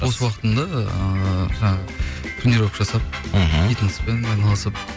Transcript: бос уақытымда ыыы жаңағы тренировка жасап мхм фитнеспен айналысып